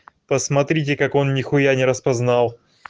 посмотрите как он нехуя не распознал